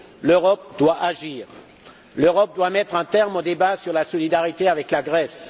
L'Europe doit agir, l'Europe doit mettre un terme au débat sur la solidarité avec la Grèce.